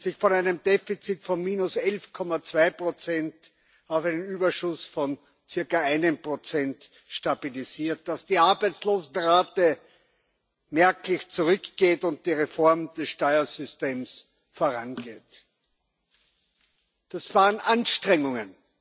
sich von einem Defizit von minus 11,2 auf einen Überschuss von circa 1 stabilisiert, dass die Arbeitslosenrate merklich zurückgeht und die Reform des Steuersystems vorangeht, das waren Anstrengungen